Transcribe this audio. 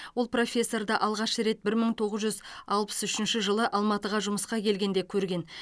ол профессорды алғаш рет бір мың тоғыз жүз алпыс үшінші жылы алматыға жұмысқа келгенде көрген